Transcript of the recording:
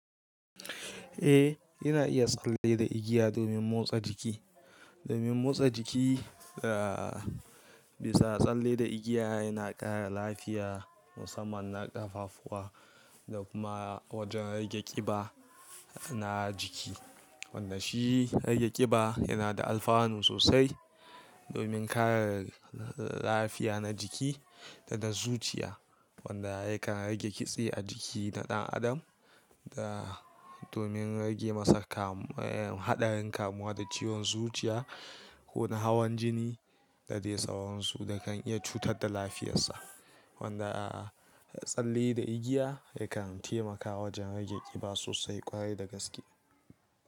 Eh, ina iya tsalle da igiya domin motsa jiki. Domin motsa jiki, ah, bisa tsalle da igiya yana ƙara lafiya musamman na ƙafafuwa da kuma wajen rage ƙiba na jiki. Wanda shi rage ƙiba yana da alfanu sosai domin kare lafiya na jiki da da zuciya. Wanda yakan rage kitse a jiki na ɗan adam da domin rage masa kamu-- eh, haɗarin kamuwa da ciwon zuciya ko na hawan jini da dai tsawonsu da kan iya cutar da lafiyarsa. Wanda tsalle da igiya yakan taimakawa wajen rage ƙiba sosai kwarai da gaske.